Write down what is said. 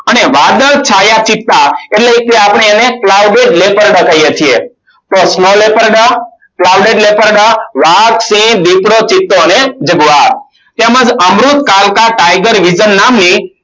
અને વાદળ છાયા ચિત્તા એટલે કે આપણે એને playback veper dog કહીએ છીએ. તો small veper dog playback veper dog વાઘ સિંહ દિપડો ચિત્તો અને જગવાર તેમજ અમૃત કાળકા tiger vision નામની